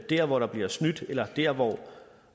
der hvor der bliver snydt eller der